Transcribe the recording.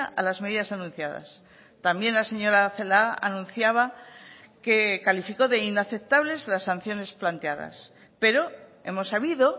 a las medidas anunciadas también la señora celaá anunciaba que calificó de inaceptables las sanciones planteadas pero hemos sabido